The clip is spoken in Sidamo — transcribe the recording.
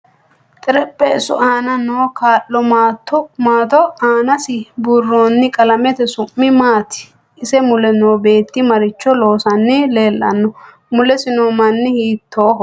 Tarpheesu aana kaa'lo maato aanasi buurooni qalamete su'mi maati isi mule noo beetti maricho loosani leelanno mulesi noo mini hiitooho